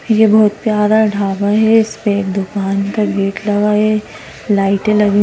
ये बहुत प्यार ढाबा है इस पे दुकान का गेट लगा है लाइटें लगी--